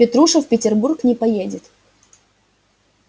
петруша в петербург не поедет